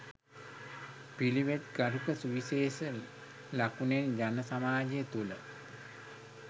පිළිවෙත් ගරුක සුවිශේෂ ලකුණෙන් ජනසමාජය තුළ